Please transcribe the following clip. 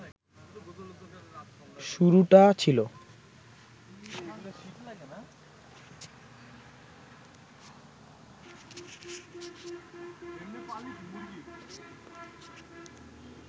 শুরুটা ছিল